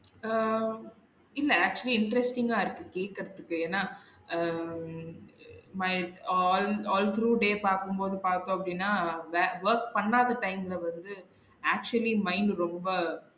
அஹ் இல்ல actually interesting ஆ இருக்கு கேக்குறதுக்கு ஏனா ah My al~ althrough day பாக்கும் போது பாத்தோம் அப்டினா wa~ work பண்ணாத time ல வந்து actually mind ரொம்ப